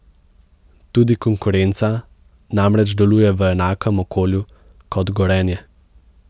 Tudi konkurenca namreč deluje v enakem okolju kot Gorenje.